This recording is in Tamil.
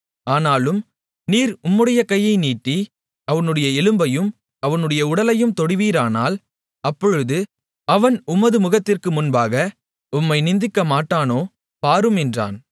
ஆனாலும் நீர் உம்முடைய கையை நீட்டி அவனுடைய எலும்பையும் அவனுடைய உடலையும் தொடுவீரானால் அப்பொழுது அவன் உமது முகத்திற்கு முன்பாக உம்மை நிந்திக்கமாட்டானோ பாரும் என்றான்